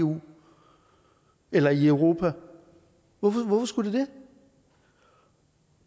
eu eller i europa hvorfor skulle de det